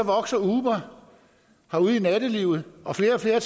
vokser uber ude i nattelivet og flere og flere